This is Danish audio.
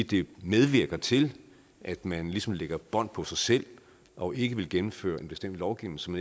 det medvirker til at man ligesom lægger bånd på sig selv og ikke vil gennemføre en bestemt lovgivning som